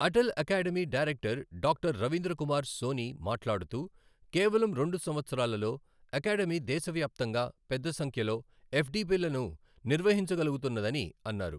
Atal academy director doctor Ravindra Kumar Soni మాట్లాడుతూ, కేవలం రెండు సంవత్సరాలలో అకాడమీ దేశవ్యాప్తంగా పెద్ద సంఖ్యలో ఎప్డిపిలను నిర్వహించగలుగుతున్నదని అన్నారు.